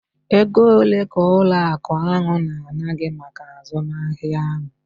Ego ole ka ụlọ akụ ahụ na-ana gị maka azụmahịa ahụ?